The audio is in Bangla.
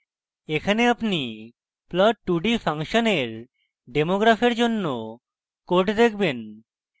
এখানে আপনি plot2d ফাংশনের demo graph জন্য code দেখেবন